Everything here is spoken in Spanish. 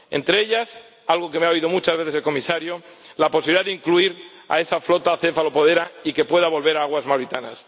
Entre ellas, algo que me ha oído muchas veces el Comisario la posibilidad de incluir a esa flota cefalopodera y que pueda volver a aguas mauritanas.